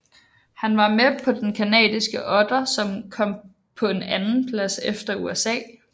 Han var med på den canadiske otter som kom på en andenplads efter USA